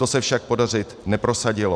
To se však prosadit nepodařilo.